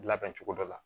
Labɛn cogo dɔ la